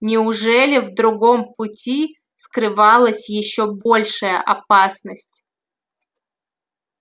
неужели в другом пути скрывалась ещё большая опасность